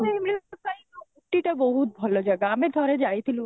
time ରେ ପାଇଁ scooty ଟା ବହୁତ ଭଲ ଜାଗା ଆମେ ଠାରେ ଯାଇଥିଲୁ